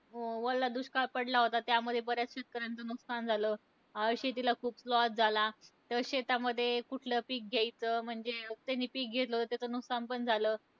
ओला दुष्काळ पडला होता, त्यामुळे बऱ्याच शेतकऱ्यांचं नुकसान झालं. अं शेतीला खूप loss झाला. तर शेतामध्ये कुठलं पीक घ्यायचं, म्हणजे ज्यांनी पीक घेतलं होतं, त्यांचं नुकसान पण झालं.